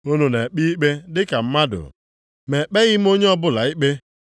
Unu na-ekpe ikpe dị ka mmadụ; ma ekpeghị m onye ọbụla ikpe.